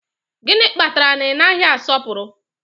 Gịnị kpatara na ị naghị asọpụrụ